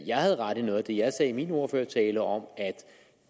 jeg havde ret i noget af det jeg sagde i min ordførertale om at